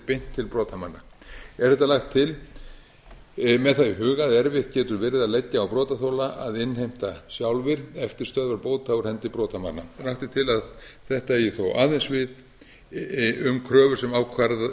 beint til brotamanna er þetta lagt til með það í huga að erfitt getur verið að leggja á brotaþola að innheimta sjálfir eftirstöðvar bóta úr hendi brotamanna lagt er til að þetta eigi þó aðeins við um kröfur sem ákveðnar